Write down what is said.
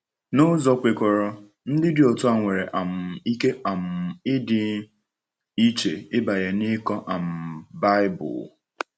N’ụzọ kwekọrọ, ndị dị otu a nwere um ike um ịdị iche ịbanye n’ịkọ um Baịbụl.